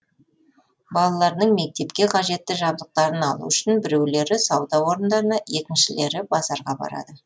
балаларының мектепке қажетті жабдықтарын алу үшін біреулері сауда орындарына екіншілері базарға барады